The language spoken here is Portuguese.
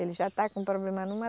Ele já está com problema numa